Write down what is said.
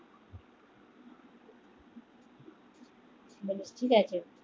ঠিক আছে